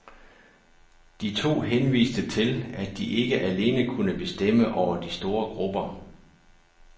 De to henviste til, at de ikke alene kunne bestemme over de store grupper.